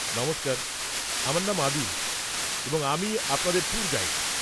নমস্কার, আমার নাম আদিল এবং আমি আপনাদের ট্যুর গাইড।